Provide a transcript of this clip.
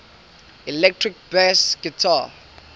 electric bass guitar